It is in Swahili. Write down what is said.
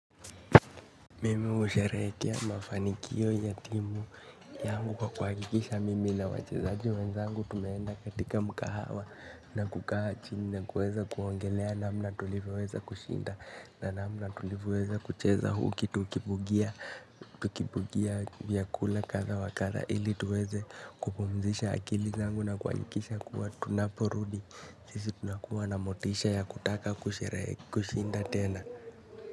Mimi husherehekea mafanikio ya timu yangu kwa kwa hakikisha mimi na wachezaji wenzangu tumeenda katika mkahawa na kukaa chini na kuweza kuongelea namna tulivyoweza kushinda na namna tulivyoweza kucheza huku tukibugia tukibugia vyakula kadha wa kadha ilituweze kupumzisha akili zangu na kuhakikisha kuwa tunaporudi sisi tunakuwa na motisha ya kutaka kusherehe kushinda tena.